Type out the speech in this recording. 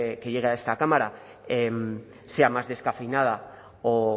que llegue a esta cámara sea más descafeinada o